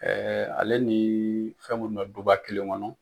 ale ni fɛn munnu bɛ duba kelen kɔnɔ.